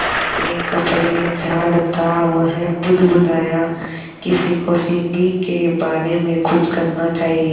अपने कपड़े झाड़ता वह बुदबुदाया किसी को सीढ़ी के बारे में कुछ करना चाहिए